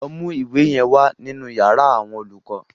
Lọ mú ìwé yẹn wa nínú yàrá àwọn olùkọ́.